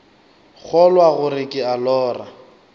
kgolwa gore ke a lora